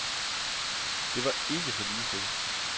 Det var ikke så ligetil.